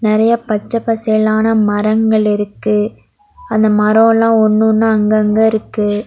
நெறையா பச்ச பசேலான மரங்கள் இருக்கு அந்த மரோ எல்லா ஒன்னொன்னா அங்கங்க இருக்கு.